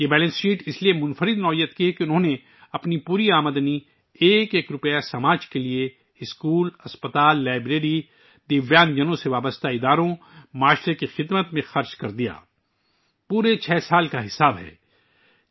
یہ balance sheet منفرد ہے، کیونکہ انھوں نے اپنی پوری آمدنی یعنی ایک ایک روپیہ معاشرے کے لیے خرچ کر دیا اسکول، اسپتال، لائبریری، معذور افراد سے متعلق ادارے، سماجی خدمت پورے 6 سال کا حساب ہے